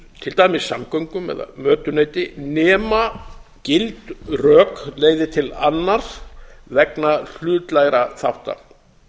til dæmis samgöngum eða mötuneyti nema gild rök leiði til annars vegna hlutlægra þátta